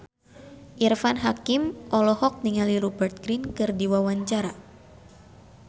Irfan Hakim olohok ningali Rupert Grin keur diwawancara